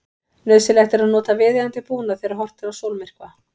Nauðsynlegt er að nota viðeigandi búnað þegar horft er á sólmyrkva.